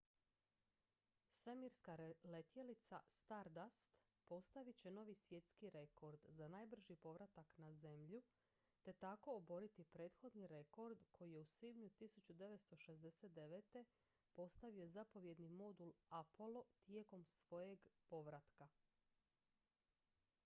svemirska letjelica stardust postavit će novi svjetski rekord za najbrži povratak na zemlju te tako oboriti prethodni rekord koji je u svibnju 1969. postavio zapovjedni modul apollo tijekom svojeg povratka